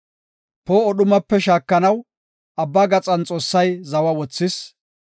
Poo7o dhumape shaakanaw, abba gaxan Xoossay zawa wothis.